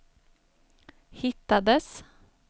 hittades